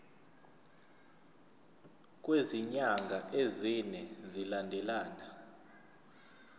kwezinyanga ezine zilandelana